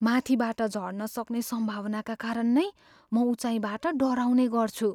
माथिबाट झर्न सक्ने सम्भावनाका कारण नै म उचाईँबाट डराउने गर्छु।